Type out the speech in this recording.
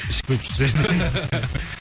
ішіп кетіп жүрсе